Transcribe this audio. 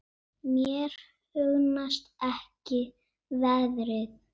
Mér hugnast ekki veðrið.